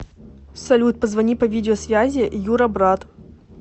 салют позвони по видео связи юра брат